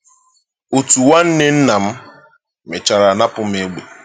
Otu nwanne nna m mechara napụ m egbe m.